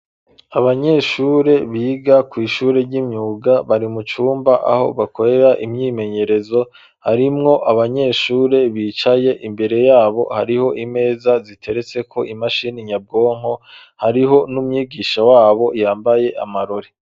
Abanyeshure biga kw'ishure ry'imyuga bari mucumba aho bakorera imyimenyerezo, harimwo abanyeshure bicaye imbere yabo hariho imeza ziteretseko imashini nyabwonko, hariho n'umwigisha wabo yambaye amarori.